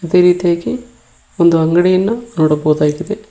ಅದೇ ರೀತಿಯಾಗಿ ಒಂದು ಅಂಗಡಿಯನ್ನ ನೋಡಬಹುದಾಗಿದೆ.